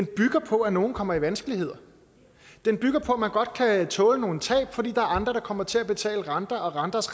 bygger på at nogle kommer i vanskeligheder den bygger på at man godt kan tåle nogle tab fordi der er andre der kommer til at betale renter og renters